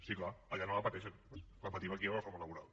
sí clar allà no la pateixen la patim aquí la reforma laboral